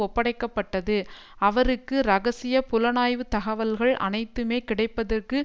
ஒப்படைக்க பட்டது அவருக்கு இரகசிய புலனாய்வு தகவல்கள் அனைத்துமே கிடைப்பதற்கு